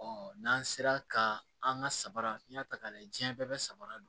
n'an sera ka an ka samara n'i y'a ta k'a lajɛ diɲɛ bɛɛ bɛ samara don